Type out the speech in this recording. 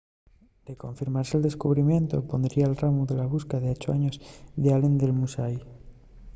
de confirmase el descubrimientu pondría'l ramu a la busca d'ocho años d'allen del musashi